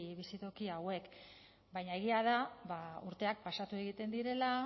bizitoki hauek baina egia da urteak pasatu egiten direla